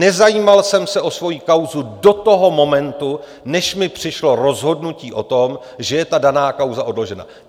Nezajímal jsem se o svoji kauzu do toho momentu, než mi přišlo rozhodnutí o tom, že je ta daná kauze odložena.